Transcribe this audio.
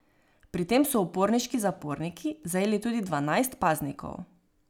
Pri tem so uporniški zaporniki zajeli tudi dvanajst paznikov.